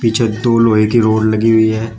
पीछे दो लोहे की रॉड लगी हुई है।